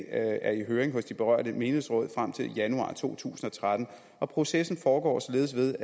er i høring hos de berørte menighedsråd frem til januar to tusind og tretten og processen foregår således ved